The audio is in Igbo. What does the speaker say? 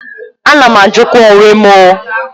A na m ajukwa onwe m ooo.